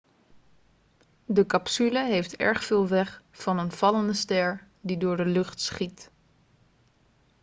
de capsule heeft erg veel weg van een vallende ster die door de lucht schiet